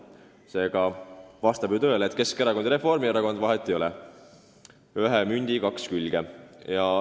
Seega vastab tõele, et Keskerakond ja Reformierakond – vahet ei ole, ühe mündi kaks külge.